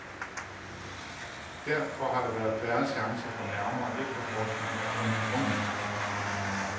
Derfor har der været færre chancer for nærmere efterforskning af undergrunden.